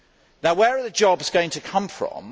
Now where are the jobs going to come from?